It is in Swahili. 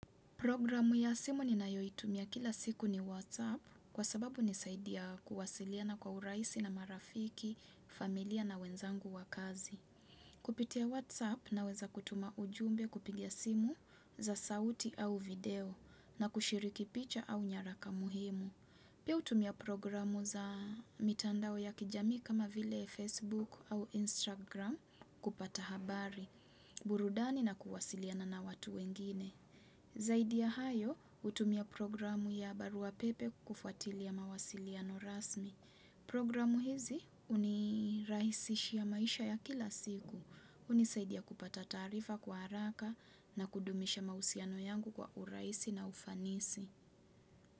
Programu ya simu ninayoitumia kila siku ni Whatsapp. Kwa sababu hunisaidia kuwasiliana kwa urahisi na marafiki, familia na wenzangu wa kazi. Kupitia Whatsapp, naweza kutuma ujumbe, kupiga simu za sauti au video, na kushiriki picha au nyaraka muhimu. Piu hutumia programu za mitandao ya kijamii kama vile Facebook au Instagram kupata habari, burudani na kuwasiliana na watu wengine. Zaidi ya hayo, hutumia programu ya barua pepe kufuatilia mawasiliano rasmi. Programu hizi hunirahisishia maisha ya kila siku. Hunisaidia kupata taarifa kwa haraka na kudumisha mahusiano yangu kwa urahisi na ufanisi.